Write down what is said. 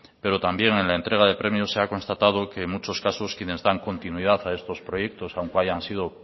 pero también en la entrega de premios se ha constatado que en muchos casos quienes dan continuidad a estos proyectos aunque hayan sido